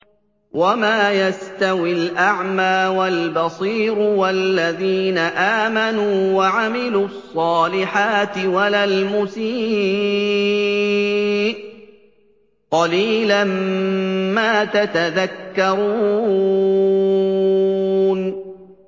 وَمَا يَسْتَوِي الْأَعْمَىٰ وَالْبَصِيرُ وَالَّذِينَ آمَنُوا وَعَمِلُوا الصَّالِحَاتِ وَلَا الْمُسِيءُ ۚ قَلِيلًا مَّا تَتَذَكَّرُونَ